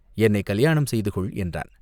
என்னைக் கலியாணம் செய்து கொள் என்றான்.